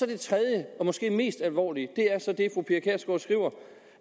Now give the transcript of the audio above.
det tredje og måske mest alvorlige er så det